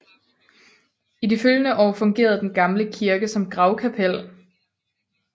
I de følgende år fungerede den gamle kirke som gravkapel